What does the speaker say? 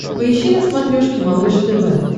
поищи на смотрешке малыш тв